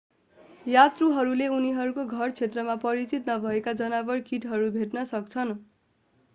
यात्रुहरूले उनीहरूको घर क्षेत्रमा परिचित नभएका जनावर कीटहरू भेट्न सक्छन्